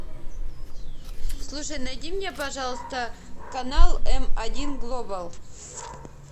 слушай найди мне пожалуйста канал м один глобал